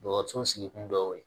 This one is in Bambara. Dɔgɔtɔrɔso sigi kun dɔ ye